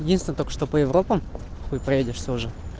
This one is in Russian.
единственное только что по европам хуй поедешь тоже